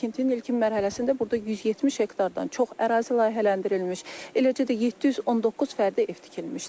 Tikintinin ilkin mərhələsində burada 170 hektardan çox ərazi layihələndirilmiş, eləcə də 719 fərdi ev tikilmişdir.